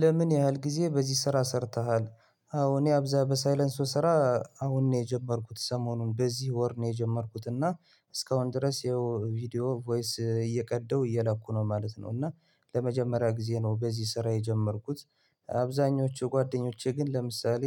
ለምን ያህል ጊዜ በዚህ ስራ ሰርተሃል? አዎ እኔ አብዛ በሳይለንሶ ስራ አሁን ነው የጀመርኩት ሰሞኑን በዚህ ወር ነው የጀመርኩት እና እስካሁን ድረስ ይኸው ቪዲዮ ቮይስ እየቀዳሁ እየላኩ ነው ማለት ነው እና ለመጀመሪያ ጊዜ ነው በዚህ ስራ የጀመርኩት አብዛኞቹ ጓደኞቼ ግን ለምሳሌ